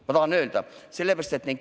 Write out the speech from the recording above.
Seda tahan ma öelda.